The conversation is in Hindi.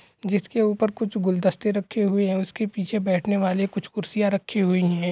जिसके ऊपर कुछ गुलदस्ते रखे हुए हे उसके पीछे बेठने वाली कुछ कुर्सियां रखी हुई हे ।